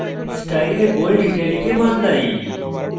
style bold italic এ বদলাই